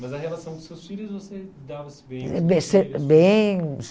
Mas a relação com os seus filhos, você dava-se bem? Bem bem